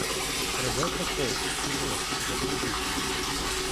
ребекка холл фильмец загрузи